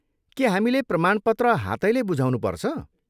के हामीले प्रमाणपत्र हातैले बुझाउनुपर्छ?